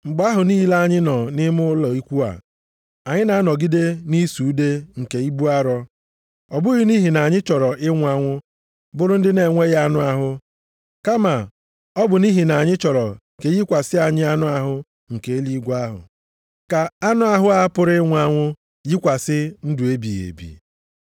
Mgbe ahụ niile anyị nọ nʼime ụlọ ikwu a, + 5:4 Anụ ahụ nke ụwa anyị na-anọgide nʼịsụ ude nke ibu arọ. Ọ bụghị nʼihi na anyị chọrọ ịnwụ anwụ bụrụ ndị na-enweghị anụ ahụ, kama ọ bụ nʼihi na anyị chọrọ ka e yikwasị anyị anụ ahụ nke eluigwe ahụ, ka anụ ahụ a pụrụ ịnwụ anwụ yikwasị ndụ ebighị ebi.